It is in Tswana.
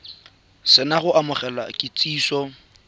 se na go amogela kitsiso